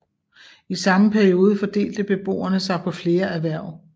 I samme periode fordelte beboerne sig på flere erhverv